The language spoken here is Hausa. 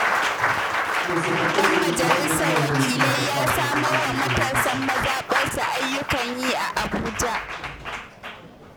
Ɗan majalisar wakilai ya samar wa matasan mazaɓarsa ayyukan yi a Abuja